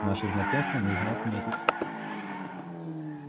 наше знакомство нужно отметить